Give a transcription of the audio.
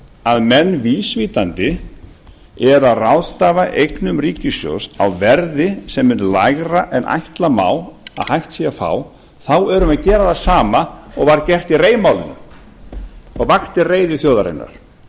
að menn vísvitandi eru að ráðstafa eignum ríkissjóðs á verði sem er lægra en ætla má að hægt sé að fá þá erum við að gera það sama og var gert í rei málinu og vakti reiði þjóðarinnar þá